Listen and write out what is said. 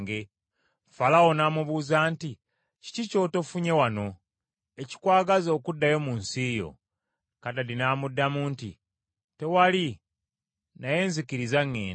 Falaawo n’amubuuza nti, “Kiki ky’otofunye wano, ekikwagaza okuddayo mu nsi yo?” Kadadi n’amuddamu nti, “Tewali, naye nzikiriza ŋŋende.”